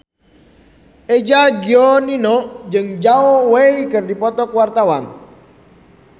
Eza Gionino jeung Zhao Wei keur dipoto ku wartawan